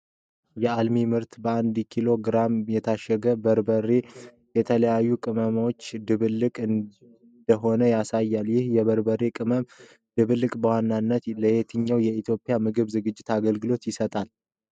የአልሚ ምርት በ1 ኪሎ ግራም የታሸገ በርበሬ የተለያዩ ቅመሞች ድብልቅ እንደሆነ ያሳያል። ይህ የበርበሬ ቅመም ድብልቅ በዋነኝነት ለየትኛው የኢትዮጵያ ምግብ ዝግጅት አገልግሎት ይሰጣል?